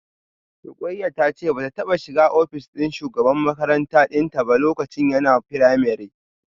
Rukayyah tace bata taba shiga office din shugaban makaranta dinta ba lokacin yana primary